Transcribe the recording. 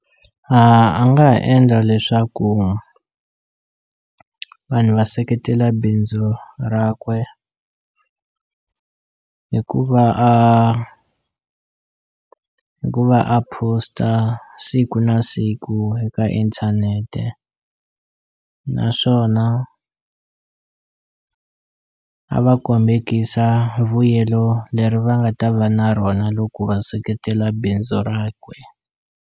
A nga ha endla leswaku vanhu va seketela bindzu ra kwe hi ku va a hi ku va a post-a siku na siku eka inthanete naswona a va kombekisa vuyelo leri va nga ta va na rona loko va seketela bindzu rakwe.